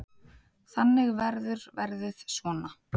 Þannig verður verðið svona.